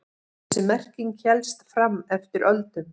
Þessi merking hélst fram eftir öldum.